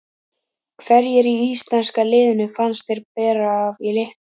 Hverjir í íslenska liðinu fannst þér bera af í leiknum?